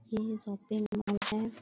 ये shopping mall है।